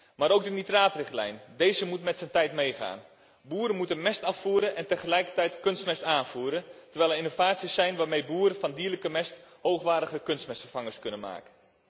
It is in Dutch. Daarnaast moet ook de nitraatrichtlijn met zijn tijd meegaan. Boeren moeten mest afvoeren en tegelijkertijd kunstmest aanvoeren, terwijl er innovaties zijn waarmee boeren van dierlijke mest hoogwaardige kunstmestvervangers kunnen maken.